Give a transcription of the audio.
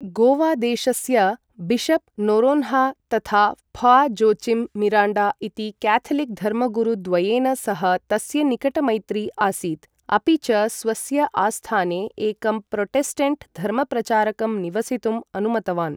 गोवादेशस्य bishop Noronha तथा फा.जोचिम् मिराण्डा इति क्याथलिक् धर्मगुरुद्वयेन सह तस्य निकटमैत्री आसीत्, अपि च स्वस्य आस्थाने एकं प्रोटेस्टेण्ट् धर्मप्रचारकं निवसितुम् अनुमतवान्।